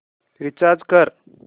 recharge कर